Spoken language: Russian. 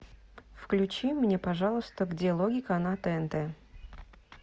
включи мне пожалуйста где логика на тнт